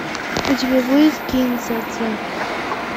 у тебя будет кин дза дза